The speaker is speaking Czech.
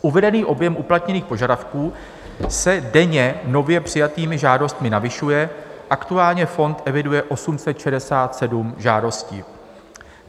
Uvedený objem uplatněných požadavků se denně nově přijatými žádostmi navyšuje, aktuálně fond eviduje 867 žádostí.